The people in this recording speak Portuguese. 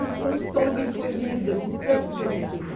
Eu toda encolhida, de tanto que eu me queimei.